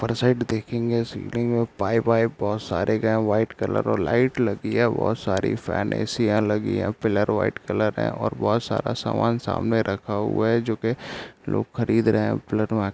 ऊपर साइड देखेंगे सीलिंग है पाइप - वाइप बहुत सारे गए है व्हाइट कलर और लाइट लगी है बहुत सारी फैन ए.सी. या यहाँ लगी हैं पिलर व्हाइट कलर है और बहुत सारा सामान सामने रखा हुआ है जो की लोग खरीद रहे है ।